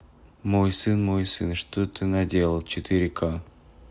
мой сын мой сын что ты наделал четыре ка